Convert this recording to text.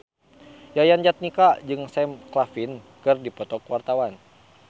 Yayan Jatnika jeung Sam Claflin keur dipoto ku wartawan